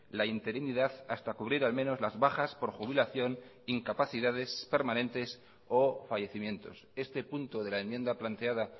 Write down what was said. la interinidad hasta cubrir al menos las bajas por jubilación incapacidades permanentes o fallecimientos este punto de la enmienda planteada